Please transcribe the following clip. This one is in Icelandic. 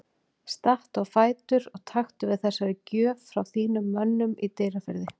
Stattu á fætur og taktu við þessari gjöf frá þínum mönnum í Dýrafirði.